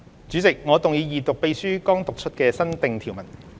主席，我動議二讀秘書剛讀出的新訂條文。